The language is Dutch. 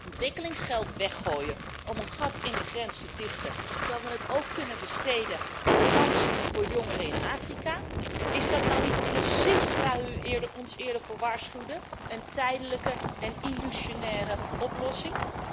Ontwikkelingsgeld weggooien om een gat in de grens te dichten terwijl we dat ook kunnen besteden aan kansen voor jongeren in Afrika, is dat nou niet precies waar u ons eerder voor waarschuwde, een tijdelijke en illusionaire oplossing?